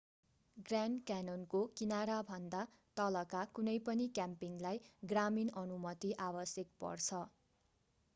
grand क्यान्योनको किनाराभन्दा तलका कुनै पनि क्याम्पिङलाई ग्रामीण अनुमति आवश्यक पर्छ